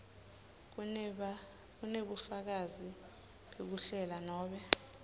kunebufakazi bekuhlela nobe